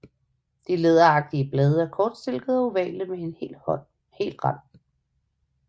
De læderagtige blade er kortstilkede og ovale med hel rand